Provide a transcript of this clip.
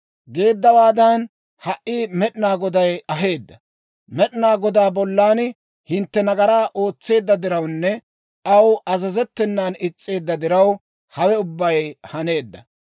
Geeddawaadan ha"i Med'inaa Goday aheedda; Med'inaa Godaa bollan hintte nagaraa ootseedda dirawunne aw azazettenan is's'eedda diraw, hawe ubbay haneedda.